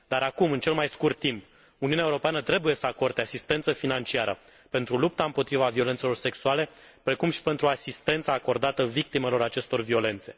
Dar acum, în cel mai scurt timp, Uniunea Europeană trebuie să acorde asistență financiară pentru lupta împotriva violențelor sexuale, precum și pentru asistența acordată victimelor acestor violențe.